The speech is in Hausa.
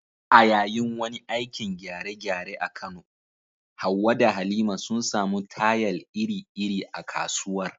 A yayin wani aikin gyare-gyare a Kano, Hawwa da Halima sun samu tayal iri-iri a kasuwar